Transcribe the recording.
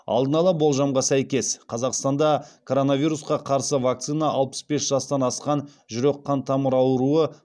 алдын ала болжамға сәйкес қазақстанда коронавирусқа қарсы вакцина алпыс бес жастан асқан жүрек қан тамыры ауруы